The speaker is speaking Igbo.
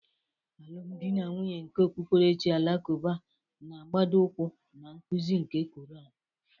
Alụmdi na nwunye nke okpukperechi Alakụba na-agbado ụkwụ na nkuzi nke Kụran.